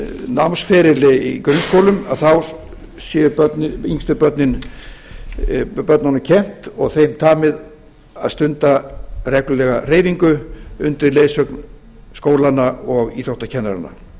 námsferil í grunnskólum þá sé yngstu börnunum kennt og þeim tamið að stunda reglulega hreyfingu undir leiðsögn skólanna og íþróttakennaranna